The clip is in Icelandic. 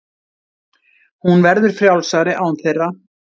Hún verður frjálsari án þeirra.